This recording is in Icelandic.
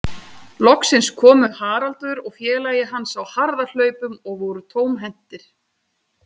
Loksins komu Haraldur og félagi hans á harðahlaupum og voru tómhentir.